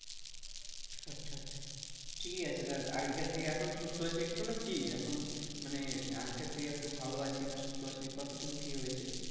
ঠিকই আছে তাহলে আগেকার থেকে একটু সুস্থ আছিস একটু নাকি, এখন মানে আগেকার থেকে একটু ভালো আছিস, না সুস্থ আছিস, কত টুকু কি হয়েছে,